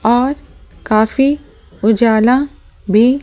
और काफी उजाला भी--